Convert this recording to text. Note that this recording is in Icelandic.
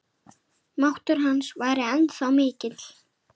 Máttur hans væri ennþá mikill.